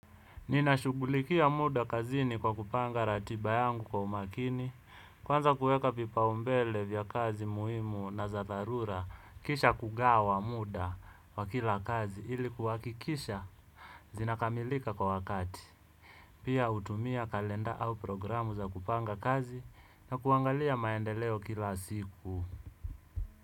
Ninashughulikia muda kazini kwa kupanga ratiba yangu kwa umakini kwanza kuweka vipaumbele vya kazi muhimu na za dharura kisha kugawa muda kwa kila kazi ili kuhakikisha zinakamilika kwa wakati pia utumia kalenda au programu za kupanga kazi na kuangalia maendeleo kila siku.